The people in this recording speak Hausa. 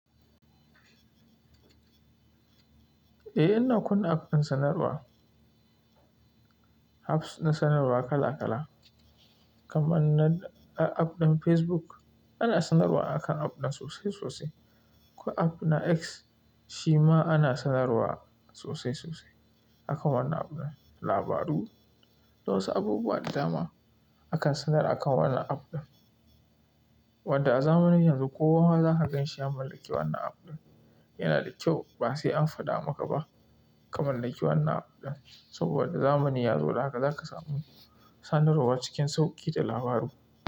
Eh, ina kunna app ɗin sanarwa, apps na sanarwa kala kala kaman na app ɗin Facebook ana sanarwa akan app ɗin sosai sosai. Ko app na X shima ana sanarwa sosai sosai akan wannan app ɗin, labaru da wasu abubuwa da dama akan sanar a kan wannan app ɗin. Wanda a zamanin yanzu kowa zaka ganshi ya mallaki wannan app ɗin. Yana da kyau ba sai an faɗa maka ba ka mallaki wannan app ɗin saboda zamani ya zo dan haka za ka samu sanarwa cikin sauƙi da labaru.